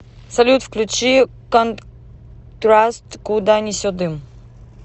салют включи контраст куда несет дым